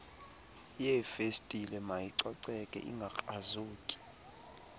yeefestile mayicoceke ingakrazuki